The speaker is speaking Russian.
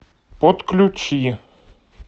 подключи